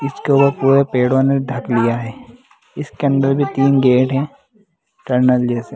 इसको भी पेड़ ने ढक लिया हैं इसके अंदर के तीन गेट टनल जैसे।